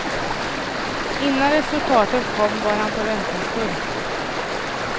Innan resultatet kom var han förväntansfull.